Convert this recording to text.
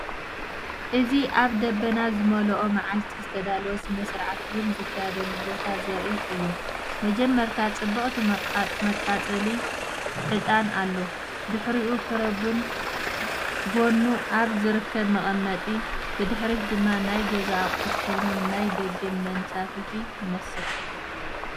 እዚ ኣብ ደበና ዝመልኦ መዓልቲ ዝተዳለወ ስነ-ስርዓት ቡን ዝካየደሉ ቦታ ዘርኢ እዩ። መጀመርታ ጽብቕቲ መቃጸሊ ዕጣን ኣሎ፣ ድሕሪኡ ፍረ ቡን ኣብ ጎድኑ ኣብ ዝርከብ መቀመጢ። ብድሕሪት ድማ ናይ ገዛ ኣቑሑት ኮይኖም፡ ናይ ደገ መንሳፈፊ ይመስል።